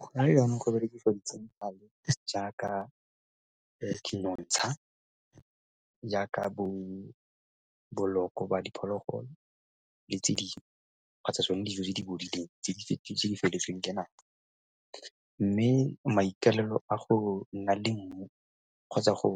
Gona yanong go berekisiwa di-chemical-e jaaka nonotsha, jaaka boloko ba diphologolo le tse dingwe kgotsa tsone dijo tse di bodileng tse di fetotsweng ka nako. Mme maikaelelo a go nna le mmu kgotsa go